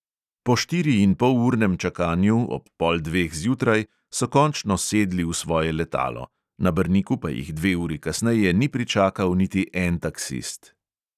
Po štiriinpolurnem čakanju, ob pol dveh zjutraj, so končno sedli v svoje letalo, na brniku pa jih dve uri kasneje ni pričakal niti en taksist.